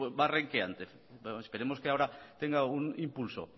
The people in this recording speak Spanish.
va renqueante esperemos que ahora tenga algún impulso